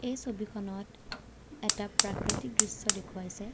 এই ছবিখনত এটা প্ৰাকৃতিক দৃশ্য দেখুৱাইছে।